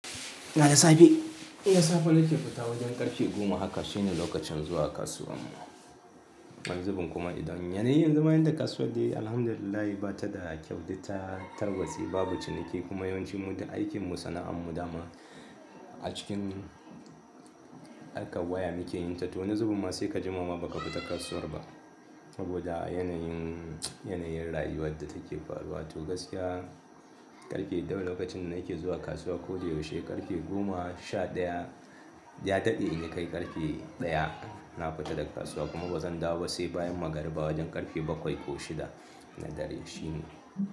Ina da safe, ina safe nake fita wajen karfe goma haka shine lokacin zuwa kasuwar mu. Wani zubin kuma idan yanayi yanzu ma inda kasuwa ce alhamdulillah bata da kyau da ta tarwatse babu ciniki kuma yawancin mu da aikin mu sana'an mu dama a cikin harkan waya muke yin ta to wani zubi ma sai ka jimama baka fita kasuwar ba. Saboda yanayin, yanayin rayuwar da take faruwa to gaskiya ƙarfe ɗaya lokacin da nake zuwa kasuwa koda yaushe ƙarfe goma sha ɗaya ya daɗe in kai ƙarfe ɗaya na fita daga kasuwa kuma bazan dawo ba sai bayan magariba wajen ƙarfe bakwai ko shida na dare shine.